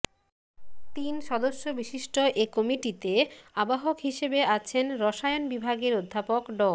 তিন সদস্য বিশিষ্ট এ কমিটিতে আহ্বায়ক হিসেবে আছেন রসায়ন বিভাগের অধ্যাপক ড